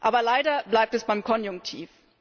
Aber leider bleibt es beim Konjunktiv.